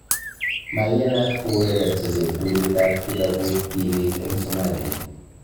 Maiyanat kourerenso cheptulit ab kikabut tibiik eng Somalia